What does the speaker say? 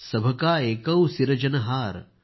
सभ का एकौ सिरजनहार